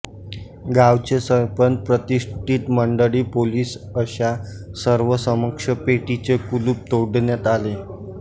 गावचे सरपंच प्रतिष्ठित मंडळी पोलिस अशा सर्वांसमक्ष पेटीचे कुलूप तोडण्यात आले